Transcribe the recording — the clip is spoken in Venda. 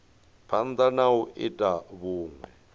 phanda na u ita vhunwe